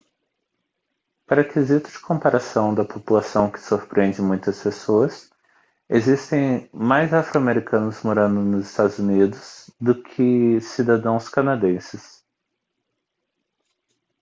para quesito de comparação da população que surpreende muitas pessoas existem mais afro-americanos morando nos eua do que cidadãos canadenses